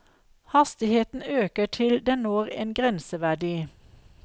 Hastigheten øker til den når en grenseverdi.